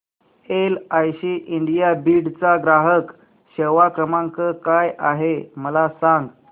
LIC India Beed चा ग्राहक सेवा क्रमांक काय आहे मला सांग